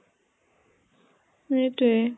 সেইতোৱে